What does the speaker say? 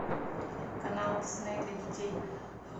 канал дисней для детей